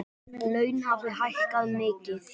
Laun hafi hækkað mikið.